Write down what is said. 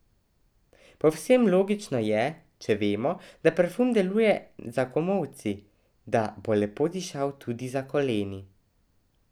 Povsem logično je, če vemo, da parfum deluje za komolci, da bo lepo dišal tudi za koleni.